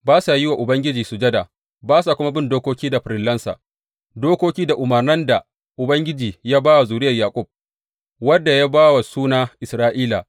Ba sa yin wa Ubangiji sujada, ba sa kuma bin dokoki da farillansa, dokoki da umarnan da Ubangiji ya ba wa zuriyar Yaƙub, wadda ya ba wa suna Isra’ila.